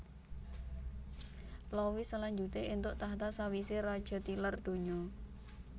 Louis salanjuté éntuk tahta sawisé raja tilar donya